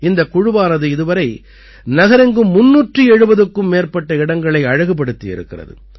இந்தக் குழுவானது இதுவரை நகரெங்கும் 370க்கும் மேற்பட்ட இடங்களை அழகுபடுத்தி இருக்கிறது